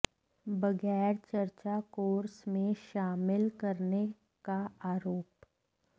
बगैर चर्चा कोर्स में शामिल करने का आरोप